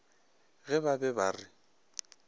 ge ba be ba re